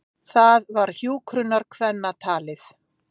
Það var hjúkrunarkvennatalið.